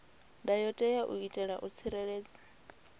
ndayotewa u itela u tsireledza